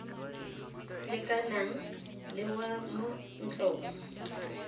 lekanang le wa mo ntlong